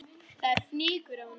Það er fnykur af honum.